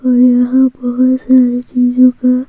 और यहां बहुत सारी चीजों का--